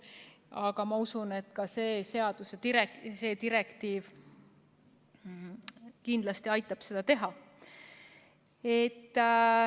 Aga ma usun, et ka see direktiiv kindlasti aitab seda teha.